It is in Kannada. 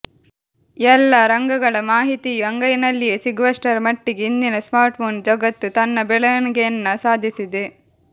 ಎಲ್ಲಾ ರಂಗಗಳ ಮಾಹಿತಿಯೂ ಅಂಗೈನಲ್ಲಿಯೇ ಸಿಗುವಷ್ಟರ ಮಟ್ಟಿಗೆ ಇಂದಿನ ಸ್ಮಾರ್ಟ್ಫೋನ್ ಜಗತ್ತು ತನ್ನ ಬೆಳವಣಿಗೆಯನ್ನ ಸಾಧಿಸಿದೆ